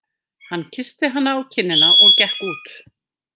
Hann kyssti hana á kinnina og gekk út.